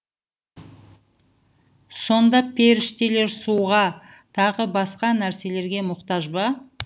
сонда періштелер суға тағы басқа нәрселерге мұқтаж ба